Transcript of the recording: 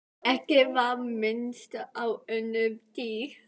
Ekki var minnst á önnur dýr.